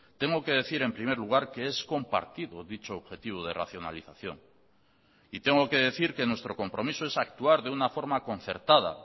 tengo que decir en primer lugar que es compartido dicho objetivo de racionalización y tengo que decir que nuestro compromiso es actuar de una forma concertada